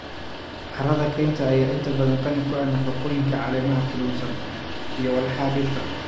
Carrada kaynta ayaa inta badan qani ku ah nafaqooyinka caleemaha qudhunsan iyo walxaha dhirta.